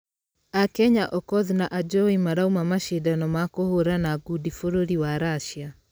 Akenya okoth na ajowi marauma mashidano ma kũhũrana ngundi bũrũri wa russia.